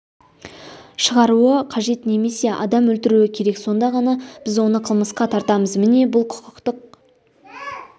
шығаруы қажет немесе адам өлтіруі керек сонда ғана біз оны қылмысқа тартамыз міне бұл құқықтық